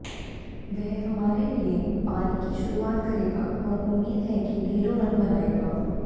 वह हमारे लिये पारी की शुरुआत करेगा और उम्मीद है कि ढेरों रन बनाएगा